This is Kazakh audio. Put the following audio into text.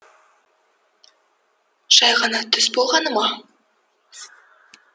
жай ғана түс болғаны ма